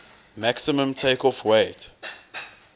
maximum takeoff weight